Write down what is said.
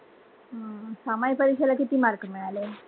हा, हा सामाय परीक्षेला किती mark मिळाले?